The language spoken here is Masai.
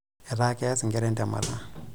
Etaa keas nkera entemata.